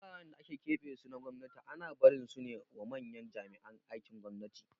Wuraren da aka keɓe su na gwamnati ana barin sune wa manyan jami'an aikin gwamnati